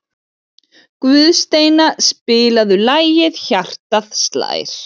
Guðsteina, spilaðu lagið „Hjartað slær“.